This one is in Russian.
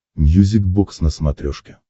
мьюзик бокс на смотрешке